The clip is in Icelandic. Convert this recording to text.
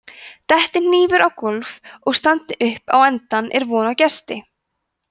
detti hnífur á gólf og standi upp á endann er von á gesti